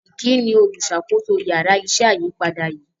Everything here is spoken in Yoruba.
Vicky ní oluṣakoso Yàrá iṣẹ́ ayípadà yí.